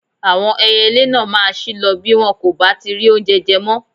Àwọn ẹyẹlé náà máa ṣí lọ bí wọn kò bá ti rí oúnje je mọ́.